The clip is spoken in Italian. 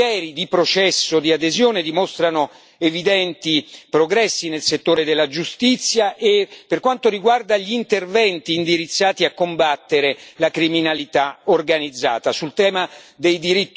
L'analisi dei vari criteri di processo di adesione dimostrano evidenti progressi nel settore della giustizia e per quanto riguarda gli interventi indirizzati a combattere la criminalità organizzata.